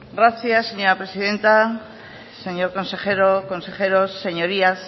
gracias señora presidenta señor consejero consejeros señorías